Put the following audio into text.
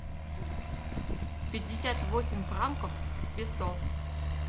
пятьдесят восемь франков в песо